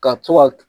Ka to ka